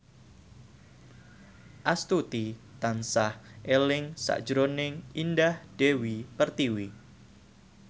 Astuti tansah eling sakjroning Indah Dewi Pertiwi